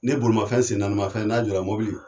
Ne bolimafɛn sen naanimafɛn n'a jɔla mɔbili.